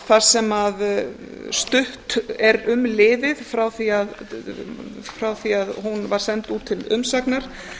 þar sem stutt er um liðið frá því að hún var send út til umsagna